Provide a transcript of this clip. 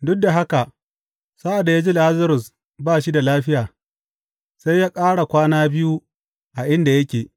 Duk da haka sa’ad da ya ji Lazarus ba shi da lafiya, sai ya ƙara kwana biyu a inda yake.